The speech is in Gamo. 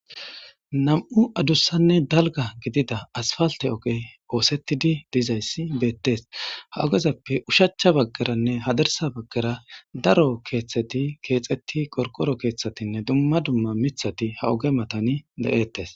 Nam'u adussanne dalga gidida aspalte oge oosettidi dizayssi beettes ha ogezappe ushachcha baggaranne hadarsa baggara daro keeththeti keexetti qoqkoro keeththatinne dumma dumma mithati ha oge matani da7ettes.